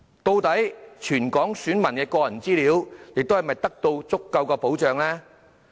究竟全港選民的個人資料是否獲得足夠的保障呢？